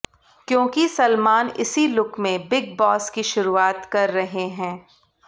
क्योंकि सलमान इसी लुक में बिग बॉस की शुरूआत कर रहे हैं